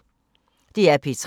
DR P3